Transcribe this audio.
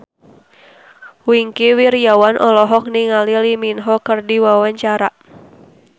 Wingky Wiryawan olohok ningali Lee Min Ho keur diwawancara